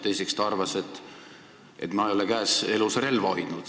Teiseks arvas ta, et mina ei ole elus relva käes hoidnud.